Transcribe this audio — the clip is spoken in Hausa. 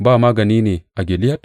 Ba magani ne a Gileyad?